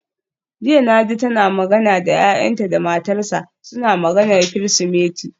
Jiya naji tana magana da yayanta da matarsa, suna maganar Kirsimeti.